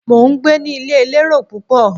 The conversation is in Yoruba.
Mo ń gbé ní ilé elérò púpọ̀.